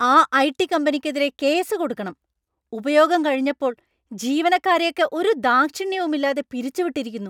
ആ ഐ.ടി. കമ്പനിക്കെതിരെ കേസ് കൊടുക്കണം; ഉപയോഗം കഴിഞ്ഞപ്പോൾ ജീവനക്കാരെയൊക്കെ ഒരു ദാക്ഷിണ്യവും ഇല്ലാതെ പിരിച്ചുവിട്ടിരിക്കുന്നു.